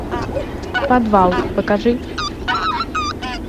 подвал покажи